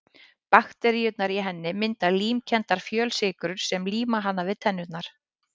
Bakteríurnar í henni mynda límkenndar fjölsykrur sem líma hana við tennurnar.